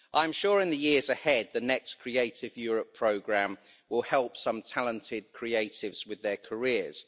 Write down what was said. I'm sure in the years ahead the next creative Europe programme will help some talented creatives with their careers.